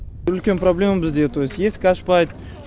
үлкен проблема бізде то есть есік ашпайды